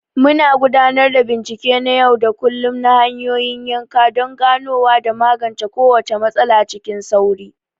Muna gudanar da bincike na yau da kullum na hanyoyin yanka don ganowa da magance kowace matsala cikin sauri.